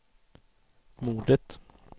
mordet